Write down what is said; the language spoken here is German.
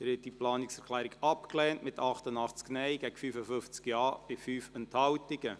Sie haben diese Planungserklärung abgelehnt, mit 88 Nein- gegen 55 Ja-Stimmen bei 5 Enthaltungen.